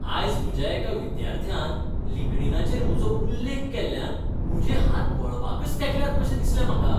आयज म्हज्या एका विद्यार्थ्यान लिंक्डीनाचेर म्हजो उल्लेख केल्ल्यान म्हजे हात मळबाकच तेंकल्यात कशें दिसलें म्हाका.